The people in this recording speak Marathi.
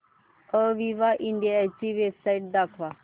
अविवा इंडिया ची वेबसाइट दाखवा